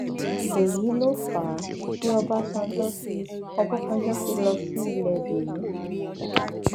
èyí ló fà á tí ọbadànjọ fi ọbadànjọ fi lọ sí ilé benin